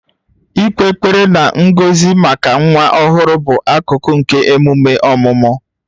Ịkpe ekpere na ngọzi maka nwa ọhụrụ bụ akụkụ nke emume ọmụmụ